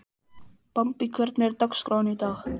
Bambi, hvernig er dagskráin í dag?